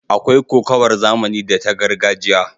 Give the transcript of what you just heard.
Akwai kokawar zamani da ta gargajiya.